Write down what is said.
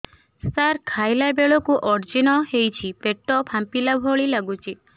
ସାର ଖାଇଲା ବେଳକୁ ଅଜିର୍ଣ ହେଉଛି ପେଟ ଫାମ୍ପିଲା ଭଳି ଲଗୁଛି